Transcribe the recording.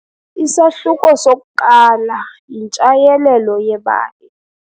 Isahluko sokuqala yintshayelelo yebali.